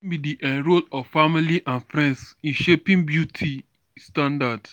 wetin be di um role of family and friends in shaping beauty standards?